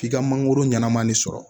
F'i ka mangoro ɲɛnaman de sɔrɔ